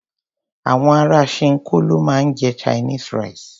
Àwọn ará ṣinkó ló máa ń jẹ Chinese rice.